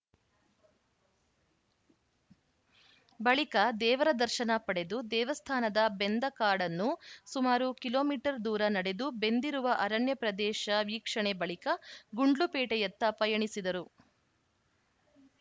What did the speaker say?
ಬಳಿಕ ದೇವರ ದರ್ಶನ ಪಡೆದು ದೇವಸ್ಥಾನದ ಬೆಂದ ಕಾಡನ್ನು ಸುಮಾರು ಕಿಲೋ ಮೀಟರ್ ದೂರ ನಡೆದು ಬೆಂದಿರುವ ಅರಣ್ಯ ಪ್ರದೇಶ ವೀಕ್ಷಣೆ ಬಳಿಕ ಗುಂಡ್ಲುಪೇಟೆಯತ್ತ ಪಯಣಿಸಿದರು